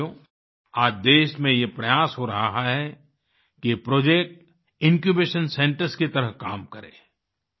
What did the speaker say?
साथियो आज देश में ये प्रयास हो रहा है कि ये प्रोजेक्ट इन्क्यूबेशन सेंटर्स की तरह काम करें